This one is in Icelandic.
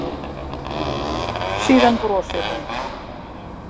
Síðan brosir hún.